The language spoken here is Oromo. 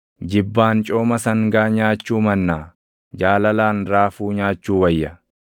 Jibbaan cooma sangaa nyaachuu mannaa, jaalalaan raafuu nyaachuu wayya.